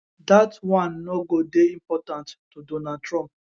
dat one no go dey important to donald trump